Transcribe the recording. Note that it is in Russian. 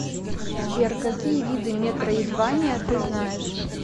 сбер какие виды метроидвания ты знаешь